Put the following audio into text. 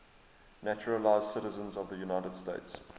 naturalized citizens of the united states